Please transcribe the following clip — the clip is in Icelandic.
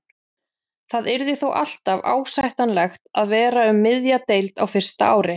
Það yrði þó alltaf ásættanlegt að vera um miðja deild á fyrsta ári.